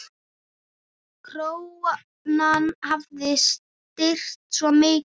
Krónan hafi styrkst svo mikið.